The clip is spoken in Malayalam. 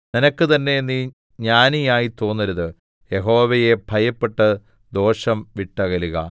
നിനക്ക് തന്നെ നീ ജ്ഞാനിയായി തോന്നരുത് യഹോവയെ ഭയപ്പെട്ട് ദോഷം വിട്ടകലുക